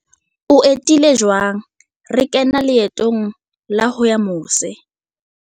O etile jwang? Re kena leetong la ho ya mose.